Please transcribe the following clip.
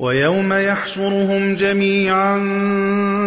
وَيَوْمَ يَحْشُرُهُمْ جَمِيعًا